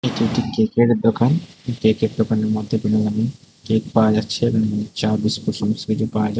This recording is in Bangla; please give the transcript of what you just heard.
এটি একটি কেকের দোকান কেকের দোকানের মধ্যে বিভিন্ন ধরনের কেক পাওয়া যাচ্ছে এবং চা বিস্কুট সমস্ত কিছু পাওয়া যায়।